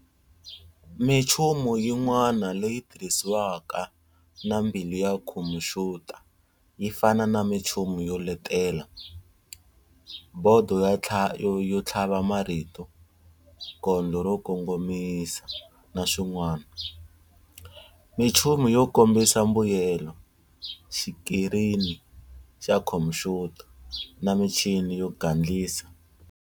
Michumu yin'wana leyi tirhisiwaka na mbilu ya khompuyuta yi fana na minchumu yo letela, Bhodo yo thlava marito, Kondlo ro kongomisa, naswin'wana, Minchumu yo kombisa mbuyelo, Xikrini xa khompuyuta, na michini yo gandlisa